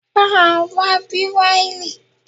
Bá a wá Bíráílì.